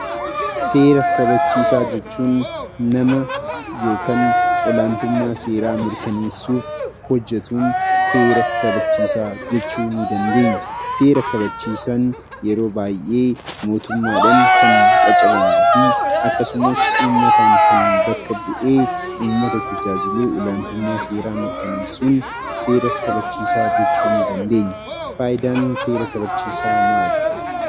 Seera kabachiisaa jechuun nama yookaan olaantummaa seeraa mirkaneessuuf hohjetuun seera kabachiisaa jechuu ni dandeenya. Seera kabachiisaan yeroo baay'ee mootummaadhaan kan qacaramuu fi akkasumas uummataan kan bakka bu'ee, uummata tajaajilee olaantummaa seeraa mirkaneessuun seera kabachiisaa jechuu ni dandeenya. Faayidaan seera kabachiisaa maali?